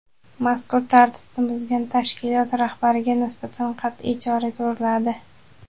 Mazkur tartibni buzgan tashkilot rahbarlariga nisbatan qatʼiy chora ko‘riladi.